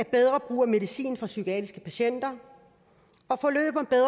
bedre brug af medicin for psykiatriske patienter